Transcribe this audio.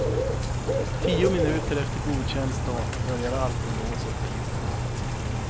Tio minuter efter godkänd start börjar alkolåset pipa.